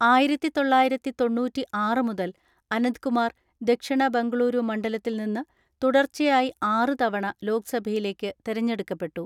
ആയിരത്തിതൊള്ളയിരത്തിതൊണ്ണൂറ്റിആറ് മുതൽ അനന്ത്കുമാർ ദക്ഷിണ ബംഗളുരു മണ്ഡലത്തിൽ നിന്ന് തുടർച്ചയായി ആറ് തവണ ലോക്സഭയിലേക്ക് തെരഞ്ഞെടുക്കപ്പെട്ടു.